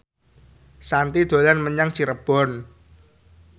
Shanti dolan menyang Cirebon